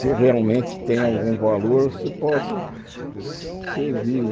Se realmente tem algum valor, se possa servir.